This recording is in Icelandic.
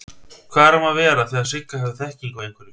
Hvað er um að vera þegar Sigga hefur þekkingu á einhverju?